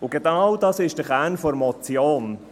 Und genau das ist der Kern der Motion.